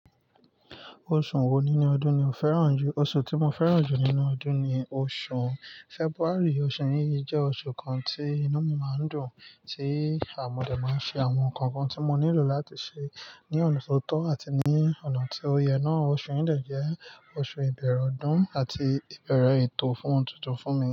Oṣù wo nínú ọdún ni o fẹ́ràn jù? Oṣù tí mo fẹ́ràn jù nínú ọdún ni oṣù February. Oṣù yìí jẹ́ oṣù kan tí inú mi máa ń dùn, tí à mọ̀dẹ̀ máa ń ṣe àwọn nǹkan kan tí mo nílò láti ṣe ní ọ̀nà tó tọ́ àti ní ọ̀nà tí ó yẹ náà. Oṣù yìí dà jẹ́ oṣù ìbẹ̀erẹ̀ ọdún àti ìbeẹ̀rẹ̀ ètò fun ohun tuntun fún mi.